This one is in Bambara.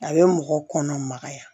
A bɛ mɔgɔ kɔnɔ magaya